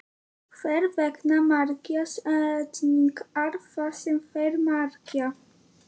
Hvers vegna merkja setningar það sem þær merkja?